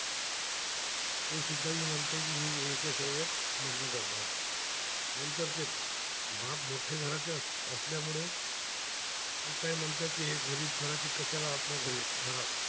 बाप मोठे घराच्या असल्यामुळ ते काय म्हणतात, ते गरीब करायची कशाला आपल्या घरी